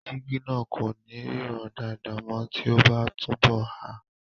Jígí náà kò ní ríran dáadáa mọ́ tí o bá n túnbọ̀ há